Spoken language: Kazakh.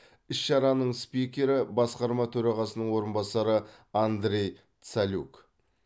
іс шараның спикері басқарма төрағасының орынбасары андрей цалюк